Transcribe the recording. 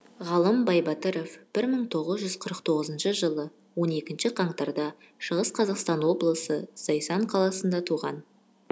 ғалым байбатыров бір мын тогызжуз қырық тогызыншы жылы он екінші қаңтар да шығыс қазақстан облысы зайсан қаласында туған